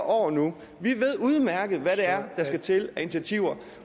år nu vi ved udmærket hvad det er der skal til af initiativer